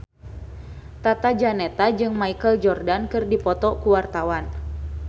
Tata Janeta jeung Michael Jordan keur dipoto ku wartawan